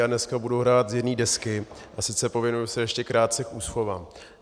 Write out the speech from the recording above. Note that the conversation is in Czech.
Já dneska budu hrát z jedné desky, a sice pověnuji se ještě krátce úschovám.